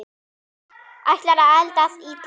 Ætlar að eldast illa.